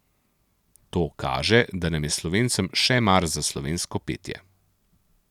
To kaže, da nam je slovencem še mar za slovensko petje.